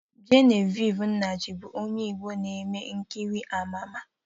Genevieve Nnaji bụ onye Igbo na-eme nkiri ama ama